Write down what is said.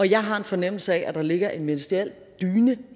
jeg har en fornemmelse af at der ligger en ministeriel dyne